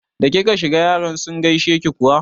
Da kika shiga yaran sun gaishe ki kuwa?